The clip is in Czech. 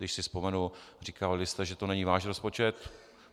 Když si vzpomenu, říkávali jste, že to není váš rozpočet.